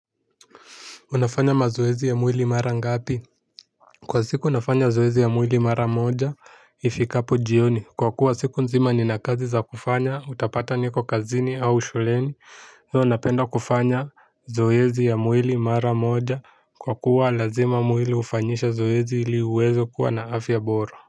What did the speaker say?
Unafanya mazoezi ya mwili mara ngapi? Kwa siku nafanya zoezi ya mwili mara moja, ifikapo jioni. Kwa kuwa siku nzima ni na kazi za kufanya, utapata niko kazini au shuleni. So napenda kufanya zoezi ya mwili mara moja, kwa kuwa lazima mwili hufanyishe zoezi ili uweze kuwa na afya bora.